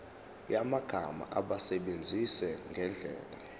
yamagama awasebenzise ngendlela